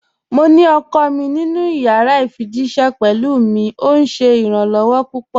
Mò ní ọkọ mi nínu yàrà ifijíṣẹ̀ pẹ̀lú mi, ọ̀ ṣé iràn-lọwọ̀ pupọ̀.